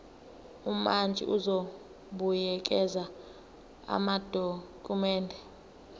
umantshi uzobuyekeza amadokhumende